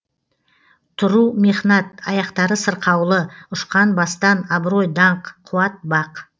тұру мехнат аяқтары сырқаулы ұшқан бастан абырой даңқ қуат бақ